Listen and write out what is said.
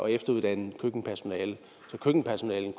efteruddanne køkkenpersonale så køkkenpersonalet